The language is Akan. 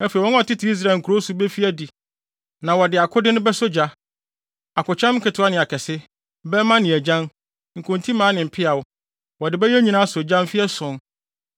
“ ‘Afei wɔn a wɔtete Israel nkurow so befi adi na wɔde akode no bɛsɔ gya, akokyɛm nketewa ne akɛse, bɛmma ne agyan, nkontimmaa ne mpeaw. Wɔde bɛyɛ nnyina asɔ gya mfe ason.